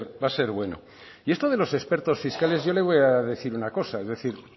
va a ser bueno y esto de los expertos fiscales yo le voy a decir una cosa